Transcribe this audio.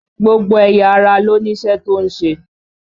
Gbogbo ẹ̀yà ara ló ní iṣẹ́ tó ń ṣe